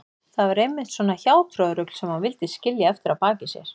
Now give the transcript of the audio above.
Það var einmitt svona hjátrúarrugl sem hann vildi skilja eftir að baki sér.